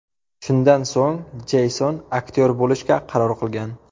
Shundan so‘ng Jeyson aktyor bo‘lishga qaror qilgan.